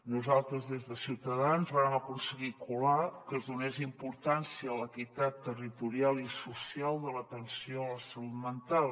nosaltres des de ciutadans vàrem aconseguir colar que es donés importància a l’equitat territorial i social de l’atenció a la salut mental